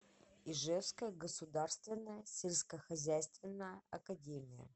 ижевская государственная сельскохозяйственная академия